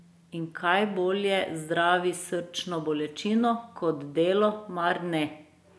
In kaj bolje zdravi srčno bolečino kot delo, mar ne?